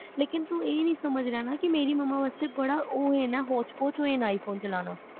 ਲੇਕਿਨ ਤੂੰ ਇਹ ਨਹੀ ਸਮਝ ਰਿਹਾ ਨਾ ਕੇ ਮੇਰੀ ਮਮਾਂ ਵਾਸਤੇ ਬੜਾ ਓ ਨਾ ਹੋਚ-ਪੋਚ iphone ਚਲਾਣਾ